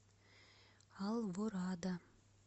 алворада